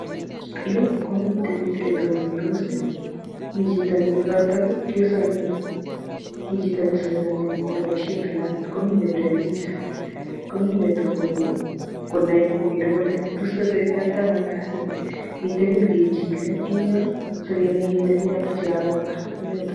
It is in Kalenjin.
Yu komite biik che tonondos mi chito ne kekoito ki kesainani mi chito nesainani neboisie kalamit komi nebire picha komi netononi kokere kole tos tesetaitaiano kasit. Mitei ki ne kechile ingyo sikenai kele biik ata chekakobwa ing yutok.